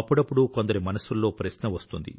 అప్పుడప్పుడు కొందరి మనసుల్లో ప్రశ్న వస్తుంది